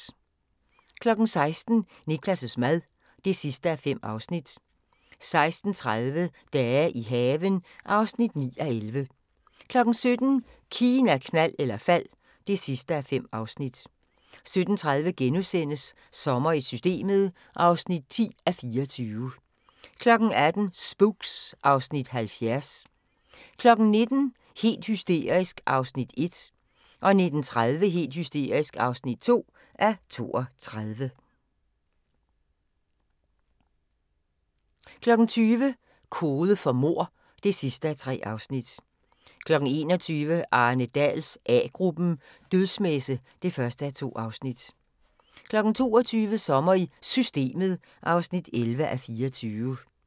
16:00: Niklas' mad (5:5) 16:30: Dage i haven (9:11) 17:00: Kina, knald eller fald (5:5) 17:30: Sommer i Systemet (10:24)* 18:00: Spooks (Afs. 70) 19:00: Helt hysterisk (1:32) 19:30: Helt hysterisk (2:32) 20:00: Kode for mord (3:3) 21:00: Arne Dahls A-gruppen: Dødsmesse (1:2) 22:00: Sommer i Systemet (11:24)